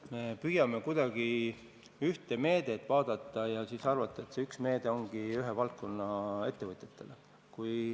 Me püüame kuidagi ühte meedet vaadata, arvates, et see üks meede ongi ühe valdkonna ettevõtetele.